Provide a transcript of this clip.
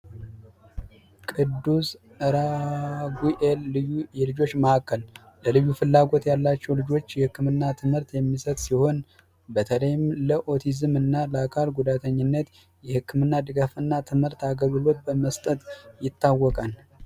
ቅዱስ ራጉኤል የልዩ ፍላጎት ማዕከል የልዩ ፍላጎት ላላቸው ተማሪዎች ትምህርት የሚሰጥ ሲሆን በተለይም ለኦቲዝምና የአካል ጉዳተኝነት የህክምና ድጋፍና ትምህርት አገልግሎት በመስጠት ይታወቃል።